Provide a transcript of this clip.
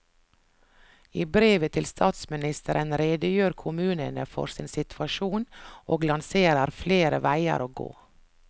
I brevet til statsministeren redegjør kommunene for sin situasjon og lanserer flere veier å gå.